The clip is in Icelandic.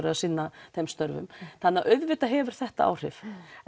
að sinna þeim störfum þannig að auðvitað hefur þetta áhrif